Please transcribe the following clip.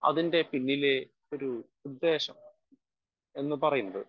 speaker 1 അതിൻ്റെ പിന്നിലെ ഒരു ഉദ്ദേശം എന്ന് പറയുന്നത്